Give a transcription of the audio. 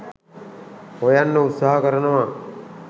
හොයන්න උත්සාහ කරනවා